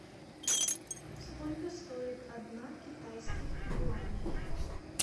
сколько стоит одна китайских юаней